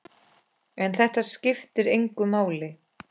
En þetta skiptir engu máli.